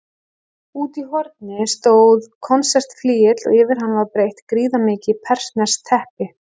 Úti í horni stóð konsertflygill og yfir hann var breitt gríðarmikið persneskt teppi.